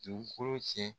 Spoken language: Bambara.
Dugukolo cɛn